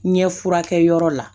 Ɲɛ furakɛ yɔrɔ la